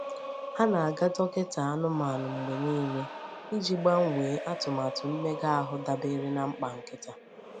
Ha na-aga dọkịta anụmanụ mgbe niile iji gbanwee atụmatụ mmega ahụ dabere na mkpa nkịta.